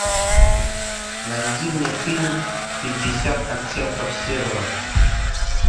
найди мне фильм пятьдесят оттенков серого